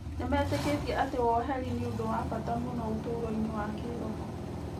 Nĩmetĩkĩtie atĩ woheri nĩ ũndũ wa bata mũno ũtũũro-inĩ wa kĩĩroho.